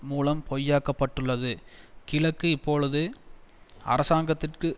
மூலம் பொய்யாக்கப்பட்டுள்ளது கிழக்கு இப்போது அரசாங்கத்துக்கு